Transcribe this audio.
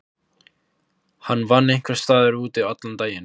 Hann vann einhvers staðar úti allan daginn.